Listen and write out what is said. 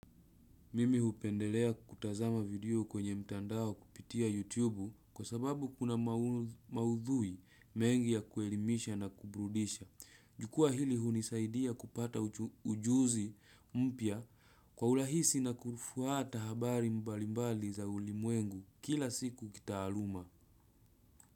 Mimi hupendelea kutazama video kwenye mtandao kupitia YouTube kwa sababu kuna maudhui mengi ya kuelimisha na kubrudisha. Jukwaa hili hunisaidia kupata ujuzi mpya kwa urahisi na kufuata habari mbalimbali za ulimwengu kila siku kitaaluma.